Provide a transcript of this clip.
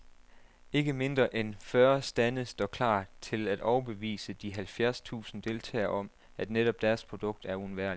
Ikke mindre en fyrre stande står klar til at overbevise de halvfjerds tusind deltagere om, at netop deres produkt er uundværligt.